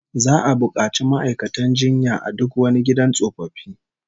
Za'a bukaci ma'aikatan jinya a duk wani gidan tsofaffi